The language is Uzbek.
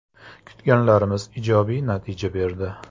Kutganlarimiz ijobiy natija berdi.